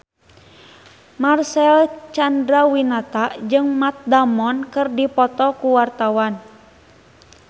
Marcel Chandrawinata jeung Matt Damon keur dipoto ku wartawan